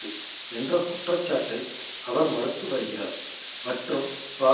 விசாரணை செய்யுமாறு உள்நாட்டிலும் சர்வதேச ரீதியிலும்